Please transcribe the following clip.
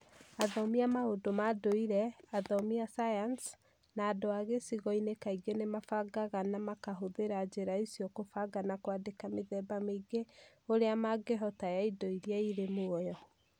Athomi a maũndũ ma ndũire, athomi a sayansi, na andũ a gĩcigo-inĩ kaingĩ nĩ mabangaga na makahũthĩra njĩra icio kũbanga na kwandĩka mĩthemba mĩingĩ ũrĩa mangĩhota ya indo iria irĩ muoyo.